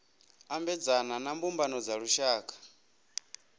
ambedzana na mbumbano dza lushaka